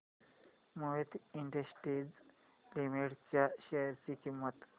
Mohit industries limited च्या share ची किंमत